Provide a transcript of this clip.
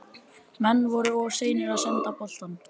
Menn voru of seinir að senda boltann.